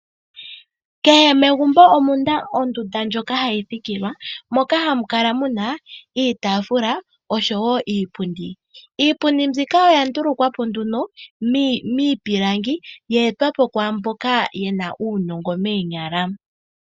Kehe megumbo omuna ondunda ndjoka hamu thikilwa, moka hamu kala muna iitaafula osho wo iipundi. Iipundi mbyoka oya ndulukwa po miipilangi yeetwa po kumboka yena uunongo moonyala.